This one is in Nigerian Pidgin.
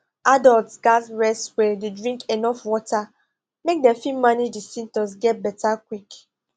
adults gatz rest well dey drink enuf water make dem fit manage di symptoms get beta quick